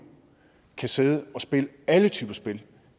kan sidde og spille alle typer af spil